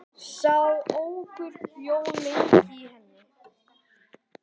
Sá óhugur bjó lengi í henni.